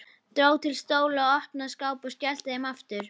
Dró til stóla, opnaði skápa og skellti þeim aftur.